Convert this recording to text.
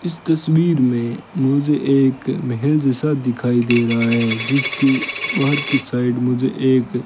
इस तस्वीर में मुझे एक महल जैसा दिखाई दे रहा है जिसके बाहर की साइड मुझे एक --